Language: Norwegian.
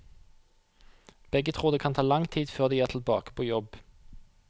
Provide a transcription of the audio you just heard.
Begge tror det kan ta lang tid før de er tilbake på jobb.